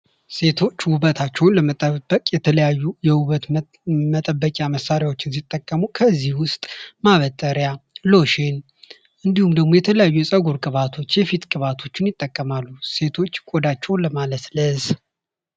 ሴቶች ውበታቸውን ለመጠበቅ የተለያዩ የውበት መጠበቂያ መሳሪያዎችን ሲጠቀሙ። ከዚህም ውስጥ ማበጠሪያ፥ ሎሽን፥ የፀጉር ቅባቶች፥ የፊት ቅባቶችን ይጠቀማሉ ቆዳቸውን ለማለስለስ።